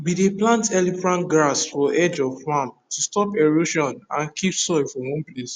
we dey plant elephant grass for edge of farm to stop erosion and keep soil for one place